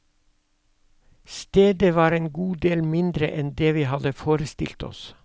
Stedet var en god del mindre enn det vi hadde forestilt oss.